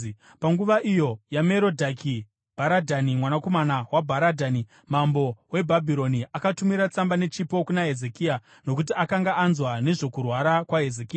Panguva iyo yaMerodhaki-Bharadhani, mwanakomana waBharadhani mambo weBhabhironi, akatumira tsamba nechipo kuna Hezekia, nokuti akanga anzwa nezvokurwara kwaHezekia.